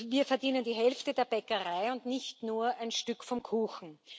Wir verdienen die Hälfte der Bäckerei und nicht nur ein Stück vom Kuchen.